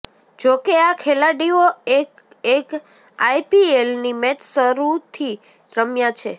જો કે આ ખેલાડીઓ એક એક આઈપીએલની મેચ જરૂરથી રમ્યા છે